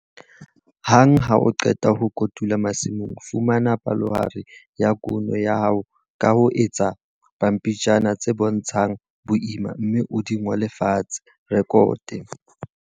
Hang ha o qeta ho kotula masimong, fumana palohare ya kuno ya hao ka ho etsa pampitshana tse bontshang boima, mme o di ngole fatshe, rekote.